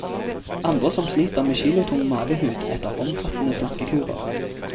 Andre som sliter med kilotung mavehud etter omfattende slankekurer.